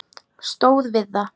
Stóð við það.